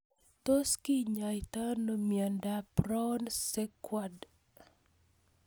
Tos kinyaitoi ano miondop Brown Sequard